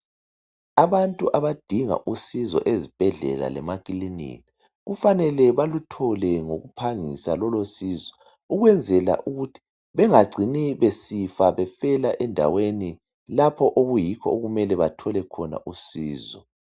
Abantu abadinga usiso ezibhedlela lemakiliniki kufanele baluthole ngokuphangisa lolo sizo, ukwenzela ukuthi bengacini besifa befela endaweni lapho okuyikho okumele bathole khona usizo.